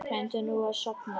Reyndu nú að sofna.